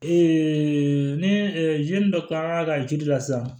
ni dɔ kilara ka jiri la sisan